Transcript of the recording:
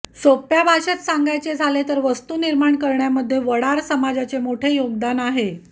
सोप्या भाषेत सांगायचे झाले तर वास्तू निर्माण करण्यामध्ये वडार समाजाचे मोठे योगदान आहे